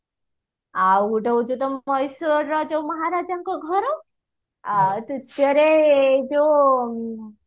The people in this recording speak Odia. ଆଉ ଗୋଟେ ହଉଚି ତ ମଏଶ୍ଵରର ଯୋଉ ମହାରାଜାଙ୍କ ଘର ଆଉ ଯୋଉ